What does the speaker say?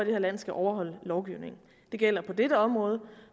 her land skal overholde lovgivningen det gælder på dette område